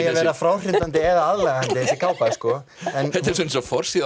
að vera fráhrindandi eða aðlaðandi þessi kápa þetta er eins og forsíða á